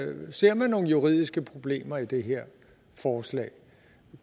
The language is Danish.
man ser nogle juridiske problemer i det her forslag